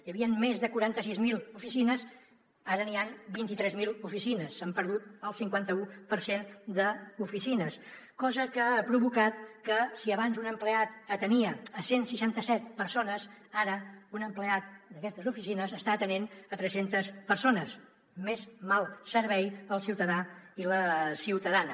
hi havien més de quaranta sis mil oficines ara hi han vint tres mil oficines s’ha perdut el cinquanta u per cent d’oficines cosa que ha provocat que si abans un empleat atenia cent i seixanta set persones ara un empleat d’aquestes oficines està atenent tres centes persones més mal servei al ciutadà i la ciutadana